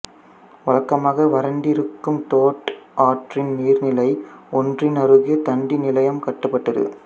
வழக்கமாக வறண்டிருக்கும் டோட் ஆற்றின் நீர்நிலை ஒன்றின் அருகே தந்தி நிலையம் கட்டப்பட்டது